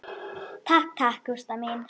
Takk takk, Gústa mín.